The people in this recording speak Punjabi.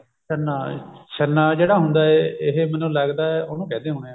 ਛੰਨਾ ਛੰਨਾ ਜਿਹੜਾ ਹੁੰਦਾ ਇਹ ਮੈਨੂੰ ਲਗਦਾ ਉਹਨੂੰ ਕਹਿੰਦੇ ਹੁੰਨੇ ਆ